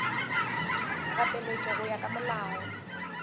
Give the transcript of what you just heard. gapeletša go ya ka molao